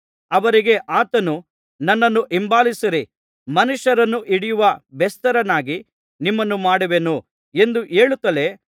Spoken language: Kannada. ಅವರಿಗೆ ಆತನು ನನ್ನನ್ನು ಹಿಂಬಾಲಿಸಿರಿ ಮನುಷ್ಯರನ್ನು ಹಿಡಿಯುವ ಬೆಸ್ತರನ್ನಾಗಿ ನಿಮ್ಮನ್ನು ಮಾಡುವೆನು ಎಂದು ಹೇಳುತ್ತಲೇ